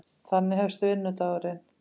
Þannig hefst vinnudagurinn.